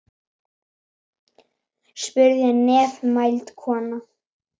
spurði nefmælt kona.